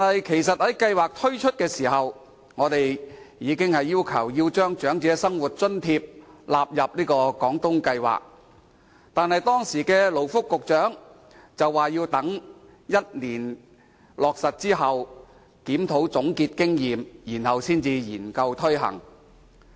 其實，在計劃推出時，我們已要求把長者生活津貼納入廣東計劃，但時任勞工及福利局局長表示，要等計劃落實1年後進行檢討，總結經驗，之後再研究推行。